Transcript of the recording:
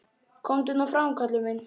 Komdu nú fram, Kalli minn!